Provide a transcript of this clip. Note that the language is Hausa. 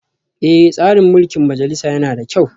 Eh, tsarin mulkin majalisa yana da kyau